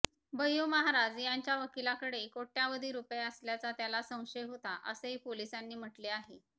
भय्यू महाराज यांच्या वकिलाकडे कोट्यवधी रूपये असल्याचा त्याला संशय होता असेही पोलिसांनी म्हटले आहे